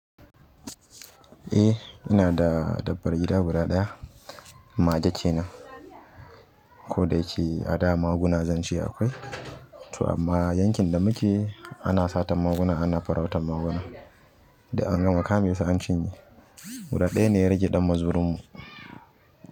Eh ina da dabbar gida guda ɗaya, mage kenan. Ko da yake a da maguna zance akwai, to amma yankin da muke ana satan maguna ana farautan maguna. An gama kame su an cinye guda ɗaya ne ya rage ɗan mazurunmu.